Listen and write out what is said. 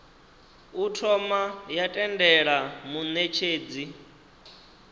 u thoma ya tendela munetshedzi